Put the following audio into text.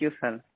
thank you सिर